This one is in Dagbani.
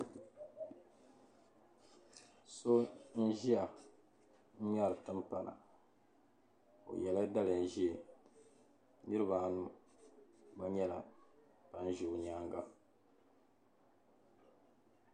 So nʒiya n ŋmeri tim pana. ɔyela daliya ʒɛɛ. niribi anu gba nyɛla ban ʒɛ ɔ nyaaŋa.